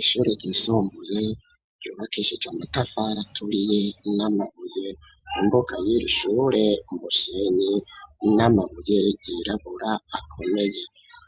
Ishure ryisumbuye ryubakishije amatafari aturiye n'amabuye imbuga yiri shure umusenyi n'amabuye yirabura akomeye